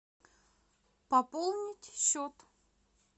пополнить счет